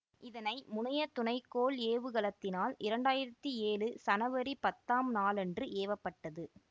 இதனை முனைய துணை கோள் ஏவுகலத்தினால் இரண்டாயிரத்தி ஏழு சனவரி பத்தாம் நாளன்று ஏவ பட்டது